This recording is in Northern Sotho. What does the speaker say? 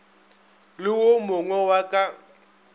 le wo mogwe wa ka